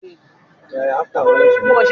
Irú oúnje wo lo féràn ju?